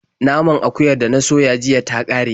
Naman akuyar da na soya jiya ta ƙare.